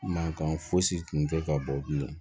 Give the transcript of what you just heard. Mankan fosi tun tɛ ka bɔ bilen